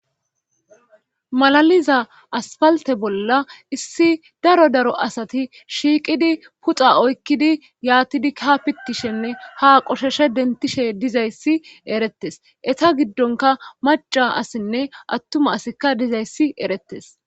malaliza aspalte bolla issi daro daro asati shiiqidi puxa oykkidi yaatidi ka pitishenne ha qoshoshe dentishe dizayssi erettes etsa giddonka maca asinne attuma asikka dizayssi erettes